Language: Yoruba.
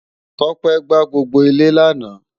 Tope gbàá gbógbó ilè làná